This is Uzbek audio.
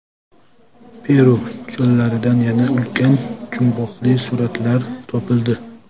Peru cho‘llaridan yana ulkan jumboqli suratlar topildi.